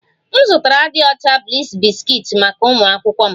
M zụtara dị ọcha bliss biscuits maka ụmụ akwụkwọ m